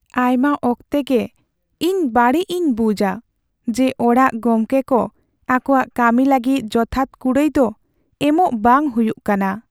ᱟᱭᱢᱟ ᱚᱠᱛᱮ ᱜᱮ ᱤᱧ ᱵᱟᱹᱲᱤᱡ ᱤᱧ ᱵᱩᱡᱟ ᱡᱮ ᱚᱲᱟᱜ ᱜᱚᱢᱠᱮ ᱠᱚ ᱟᱠᱚᱣᱟᱜ ᱠᱟᱹᱢᱤ ᱞᱟᱹᱜᱤᱫ ᱡᱚᱛᱷᱟᱛ ᱠᱩᱲᱟᱭ ᱫᱚ ᱮᱢᱚᱜ ᱵᱟᱝ ᱦᱩᱭᱩᱜ ᱠᱟᱱᱟ ᱾